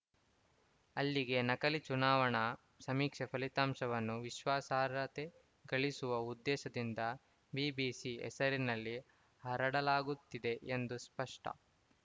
ಅಲ್ಲಿಗೆ ನಕಲಿ ಚುನಾವಣಾ ಸಮೀಕ್ಷೆ ಫಲಿತಾಂಶವನ್ನು ವಿಶ್ವಾಸಾರ್ಹತೆ ಗಳಿಸುವ ಉದ್ದೇಶದಿಂದ ಬಿಬಿಸಿ ಹೆಸರಿನಲ್ಲಿ ಹರಡಲಾಗುತ್ತಿದೆ ಎಂದು ಸ್ಪಷ್ಟ